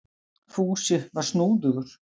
Fúsi var snúðugur.